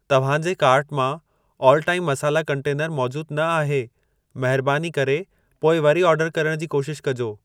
तव्हां जे कार्ट मां आल टाइम मसाला कंटेनरु मौजूद न आहे। महरबानी करे पोइ वरी ऑर्डर करण जी कोशिश कजो।